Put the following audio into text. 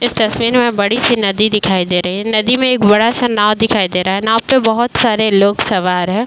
इस तस्वीर में बड़ी सी नदी दिखाई दे रही है। नदी में एक बड़ा सा नांव दिखाई दे रहा है। नांव पे बहोत सारे लोग सवार है।